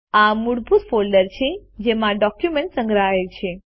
આ મૂળભૂત ફોલ્ડર છે જેમાં ડોક્યુમેન્ટ સંગ્રહાય છે